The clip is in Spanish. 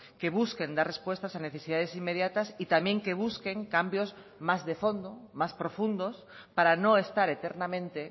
que busquen dar respuestas a necesidades inmediatas y también que busquen cambios más de fondo más profundos para no estar eternamente